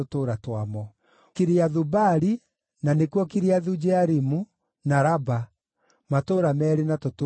Kiriathu-Baali (na nĩkuo Kiriathu-Jearimu), na Raba; matũũra meerĩ na tũtũũra twamo.